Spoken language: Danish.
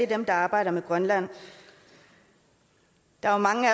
dem der arbejder med grønland der er mange